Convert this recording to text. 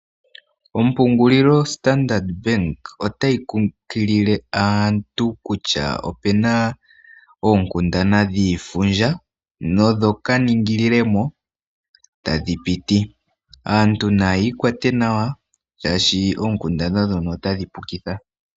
Ompungulilo yo Standard Bank otayi kunkilile aantu kutya opena oonkundana dhiifundja, nodho ka ningililemo tadhi piti. Aantu naya ikwate nawa shaashi oonkundana ndhono otadhi pukitha.